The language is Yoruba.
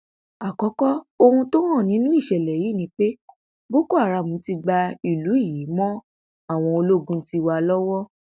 àkókò ohun tó hàn nínú ìṣẹlẹ yìí ni pé boko haram ti gba ìlú yìí mọ àwọn ológun tiwa lọwọ